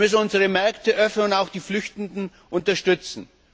Wir müssen unsere Märkte öffnen und auch die Flüchtenden unterstützen.